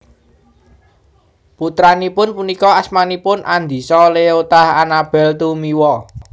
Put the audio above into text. Putranipun punika asmanipun Andisa Leota Anabel Tumiwa